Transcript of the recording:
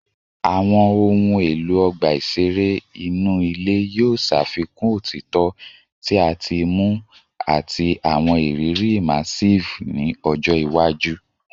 Awọn ohun elo ọgba iṣere inu ile yoo ṣafikun otitọ ti a ti muu ati awọn iriri immersive ni ọjọ iwaju